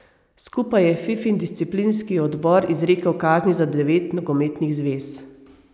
Skupaj je Fifin disciplinski odbor izrekel kazni za devet nogometnih zvez.